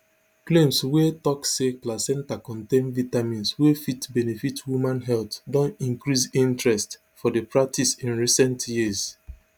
claims wey tok say placenta contain vitamins wey fit benefit woman health don increase interest for di practice in recent years